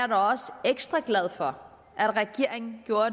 da også ekstra glad for at regeringen gjorde